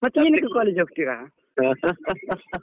ಮತ್ತೆ ಏನಕ್ಕೆ college ಹೋಗ್ತೀರಾ?